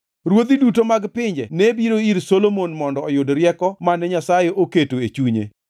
Ruodhi duto mag pinje ne biro ir Solomon mondo oyud rieko mane Nyasaye oketo e chunye.